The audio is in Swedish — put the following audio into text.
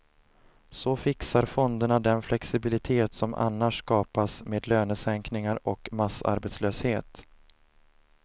Så fixar fonderna den flexibilitet som annars skapas med lönesänkningar och massarbetslöshet.